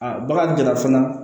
A bagan dɔ la fana